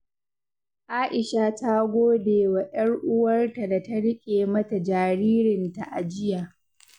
Aisha ta gode wa 'yar uwarta da ta riƙe mata jaririnta a jiya.